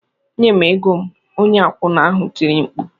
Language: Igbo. "Nye m ego m!" onye akwụna ahụ tiri mkpu.